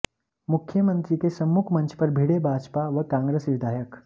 मुख्यमंत्री के सम्मुख मंच पर भिड़े भाजपा व कांग्रेस विधायक